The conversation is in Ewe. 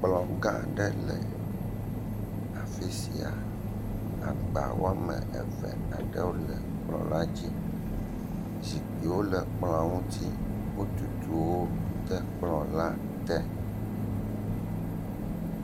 kplɔga aɖe le afisia agba woame eve aɖewo le kplɔ la dzi zikpuiwo le kplɔa ŋuti wotuwo de kplɔ la te